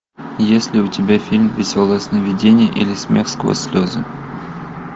есть ли у тебя фильм веселое сновидение или смех сквозь слезы